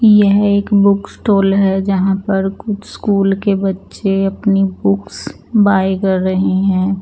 यह एक book stall हैं जहाँ पर कुछ स्कूल के बच्चे अपनी बुक्स बाय कर रहे हैं।